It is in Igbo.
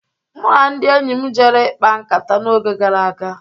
Mụ na ndị enyi m jere ikpa nkata n'oge gara aga.